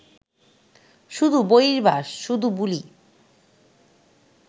শুধু বহির্বাস, শুধু বুলি